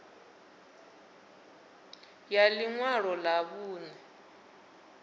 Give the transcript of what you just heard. ya ḽi ṅwalo ḽa vhuṋe